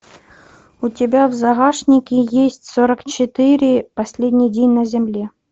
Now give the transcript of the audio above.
у тебя в загашнике есть сорок четыре последний день на земле